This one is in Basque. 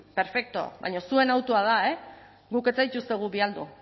perfekto baina zuen hautua da e guk ez zaituztegu